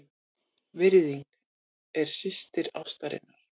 VIRÐING- er systir ástarinnar.